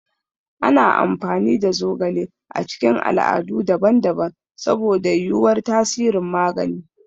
Ana amfani da zogale a cikin al'adu daban-daban saboda yuwuwar tasirin magani.